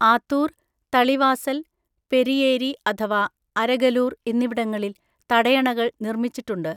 ആത്തൂർ, തളിവാസൽ, പെരിയേരി അഥവാ അരഗലൂർ എന്നിവിടങ്ങളിൽ തടയണകൾ നിർമ്മിച്ചിട്ടുണ്ട്.